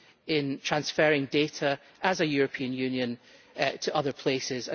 in transferring data as a European Union to other places